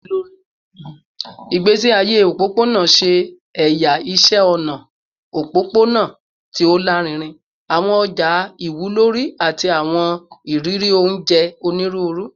Igbesi aye opopona ṣe ẹya iṣẹ ọna opopona ti o larinrin, awọn ọja iwunlere, ati awọn iriri onjẹ onjẹ oniruuru